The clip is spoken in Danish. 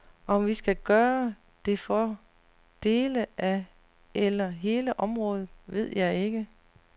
Om vi skal gøre det for dele af eller hele området, ved jeg ikke.